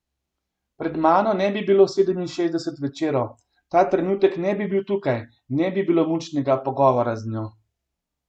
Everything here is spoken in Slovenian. Pred mano ne bi bilo sedeminšestdesetih večerov, ta trenutek ne bi bil tukaj, ne bi bilo mučnega pogovora z njo.